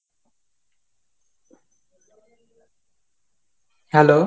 hello.